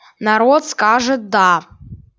народ скажет да